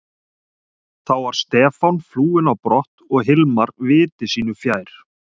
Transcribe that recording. Þá var Stefán flúinn á brott og Hilmar viti sínu fjær.